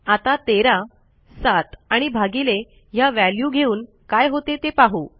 आता 13 7 आणि भागिले ह्या व्हॅल्यू घेऊन काय होते ते पाहू